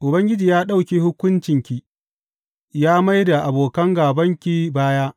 Ubangiji ya ɗauke hukuncinki, ya mai da abokan gābanki baya.